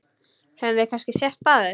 Höfum við kannski sést áður?